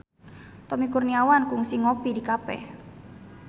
Tommy Kurniawan kungsi ngopi di cafe